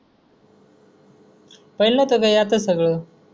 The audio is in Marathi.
पहिले नव्हतं काही आता सगळं.